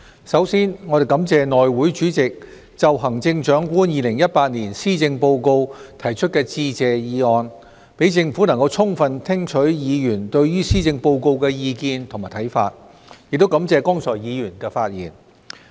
首先，我們感謝內務委員會主席就行政長官2018年施政報告提出致謝議案，讓政府能充分聽取議員對於施政報告的意見和看法，亦感謝剛才議員的發言。